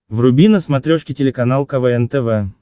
вруби на смотрешке телеканал квн тв